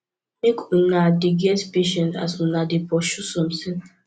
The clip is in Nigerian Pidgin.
make una dey get patience as una dey pursue somtin